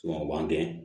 o b'an dɛn